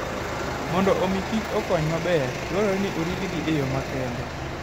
Mondo omi kich okony maber, dwarore ni oritgi e yo makende.